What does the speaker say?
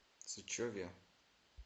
сычеве